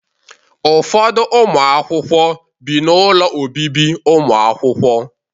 Ụfọdụ ụmụ akwụkwọ bi na ụlọ obibi ụmụakwụkwọ.